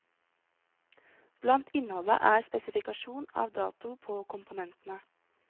Blant innholdet er spesifikasjon av dato på komponentene.